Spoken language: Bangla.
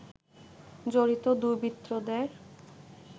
জড়িত দুর্বৃত্তদের